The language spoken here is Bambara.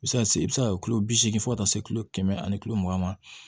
I bɛ se ka se i bɛ se ka kilo bi seeg fo ka taa se kulo kɛmɛ ani kilo mugan ma